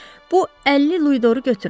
Bu 50 luidoru götürün.